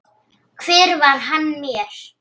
Hver var hann mér?